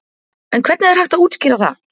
En hvernig er hægt að útskýra það?